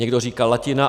Někdo říká latina.